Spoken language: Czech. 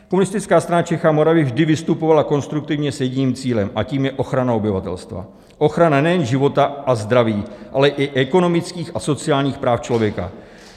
Komunistická strana Čech a Moravy vždy vystupovala konstruktivně s jedním cílem, a tím je ochrana obyvatelstva, ochrana nejen života a zdraví, ale i ekonomických a sociálních práv člověka.